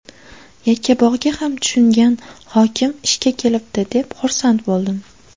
Yakkabog‘ga ham tushungan hokim ishga kelibdi deb, xursand bo‘ldim.